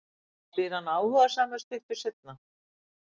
spyr hann áhugasamur stuttu seinna.